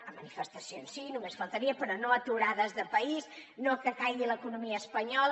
a manifestacions sí només faltaria però no a aturades de país no que caigui l’economia espanyola